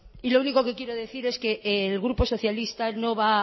y lo único que quiero decir es que el grupo socialista no va